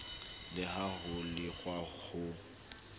le ha ho lekwa ho